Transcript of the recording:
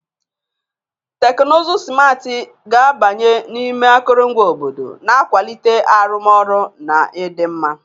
Teknụzụ simarti ga-abanye n'ime akụrụngwa obodo, na-akwalite arụmọrụ na ịdị mma.